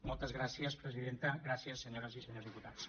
moltes gràcies presidenta gràcies senyores i senyors diputats